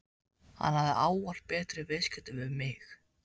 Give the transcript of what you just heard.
Hann hafði ávallt betur í viðskiptum við mig.